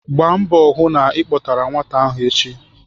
Gbaa mbọ hụ na ị kpọtara nwata ahụ echi!